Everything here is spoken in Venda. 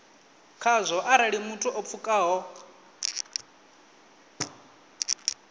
khazwo arali muthu o pfukaho